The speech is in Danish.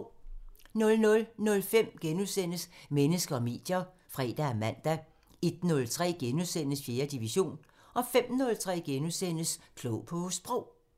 00:05: Mennesker og medier *(fre og man) 01:03: 4. division * 05:03: Klog på Sprog *